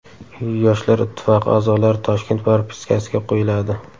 Yoshlar ittifoqi a’zolari Toshkent propiskasiga qo‘yiladi.